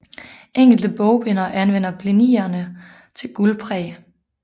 Enkelte bogbindere anvender blinierne til guldpræg